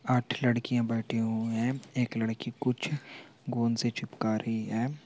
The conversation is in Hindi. आठ लड़कियाँ बैठी हुई हैं एक लड़की कुछ गोंद से चिपका रही हैं।